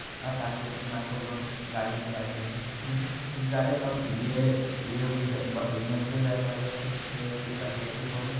आसान क़िस्त में आपको लोन गाड़ी मिल जाते हैं हूं कुछ ज्यादे कम ये ये ग ब नेचरल गेस वाले हो गए हैट्रिक हैट्रिक हो गए।